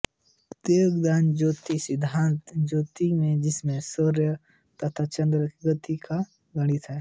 वेदांगज्याेतिष सिद्धान्त ज्याेतिष है जिसमें सूर्य तथा चन्द्र की गति का गणित है